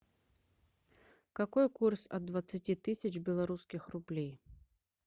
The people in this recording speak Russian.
какой курс от двадцати тысяч белорусских рублей